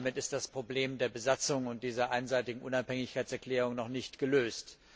Damit ist das Problem der Besatzung und dieser einseitigen Unabhängigkeitserklärung noch nicht gelöst.